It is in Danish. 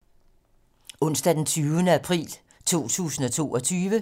Onsdag d. 20. april 2022